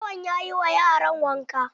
Lawan yayi ma yaran wanka.